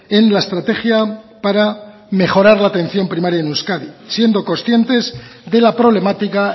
en la estrategia para mejorar la atención primaria en euskadi siendo conscientes de la problemática